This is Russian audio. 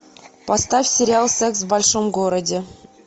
поставь сериал секс в большом городе